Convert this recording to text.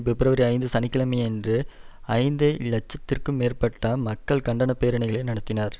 பிப்ரவரி ஐந்து சனி கிழமையன்று ஐந்து இலட்சம்திற்கும் மேற்பட்ட மக்கள் கண்டன பேரணிகளை நடத்தினர்